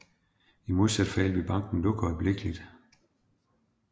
I modsat fald ville banken lukke øjeblikkeligt